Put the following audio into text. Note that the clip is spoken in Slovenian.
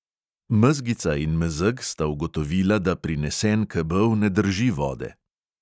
Mezgica in mezeg sta ugotovila, da prinesen kebel ne drži vode.